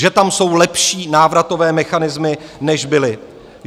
Že tam jsou lepší návratové mechanismy, než byly?